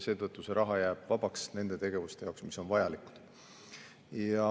Seetõttu see raha jääb vabaks nende tegevuste jaoks, mis on vajalikud.